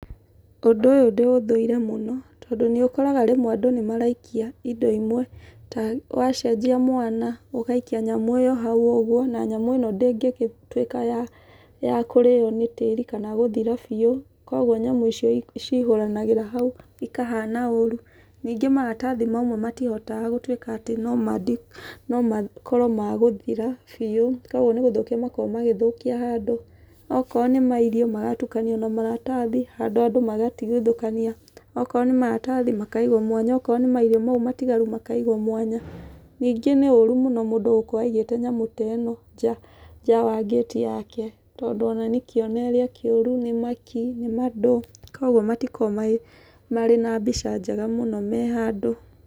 Ũndũ ũyũ ndĩũthũire mũno, tondũ nĩ ũkoraga rĩmwe andũ nĩ maraikia indo imwe, ta wacenjia mwana, ũgaikia nyamũ ĩyo hau ũguo, na nyamũ ĩno ndĩngĩgĩtuĩka ya ya kũrĩo nĩ tĩri, kana gũthira biũ. Kũguo nyamũ icio ciihũranagĩra hau, ikahana ũũru. Ningĩ maratathi mamwe matihotaga gũtuĩka atĩ no makorwo magũthira biũ, kũguo nĩ gũthukia makoragwo magĩthũkia handũ. Okoro nĩ mairio, magatukanio na maratathi, handũ andũ magatigithũkania. Okorwo nĩ maratathi, makaigwo mwanya. Okorwo nĩ mairio mau matigaru makaigwo mwanya. Ningĩ nĩ ũũru mũno mũndũ gũkorwo aigĩte nyamũ ta ĩno nja ya ngĩti yake, tondũ ona nĩ kĩonereria kĩũru nĩ makĩ, nĩ mandũ. Kũguo matikoragwo marĩ na mbeca njega mũno me handũ.